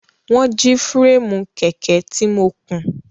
Wọ́n jí fúréèmù kẹ̀kẹ́ tí mo kùn.